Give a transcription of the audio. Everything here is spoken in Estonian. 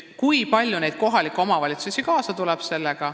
Kui palju on neid kohalikke omavalitsusi, kes sellega kaasa tulevad?